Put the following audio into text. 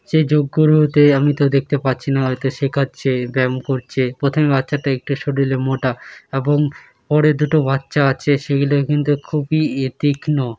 সে যোগ্য লোতে আমি তো দেখতে পাচ্ছি না। হয়তো শেখাচ্ছে ব্যায়াম করছে। প্রথমে বাচ্চাটা একটু শরীরে মোটা এবং পরে দুটো বাচ্চা আছে সেই লে কিন্তু খুবই এ তীক্ষ্ণ।